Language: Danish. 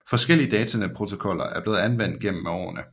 Forskellige datanetprotokoller er blevet anvendt gennem med årene